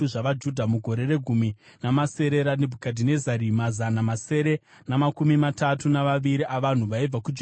mugore regumi namasere raNebhukadhinezari, mazana masere namakumi matatu navaviri avanhu vaibva kuJerusarema;